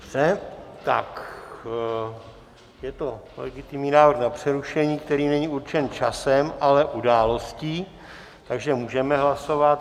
Dobře, tak je to legitimní návrh na přerušení, který není určen časem, ale událostí, takže můžeme hlasovat.